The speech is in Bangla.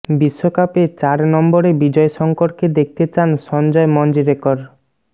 বিশ্বকাপে চার নম্বরে বিজয় শঙ্করকে দেখতে চান সঞ্জয় মঞ্জরেকর